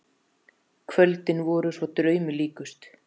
Kvöldin voru svo draumi líkust.